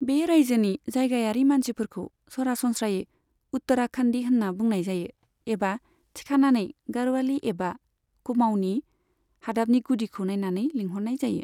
बे रायजोनि जायगायारि मानसिफोरखौ सरासनस्रायै उत्तराखन्दि होनना बुंनाय जायो एबा थिखानायै गाढ़वाली एबा कुमाऊनि, हादाबनि गुदिखौ नायनानै लिंहरनाय जायो।